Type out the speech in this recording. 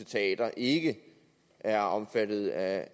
teatre ikke er omfattet af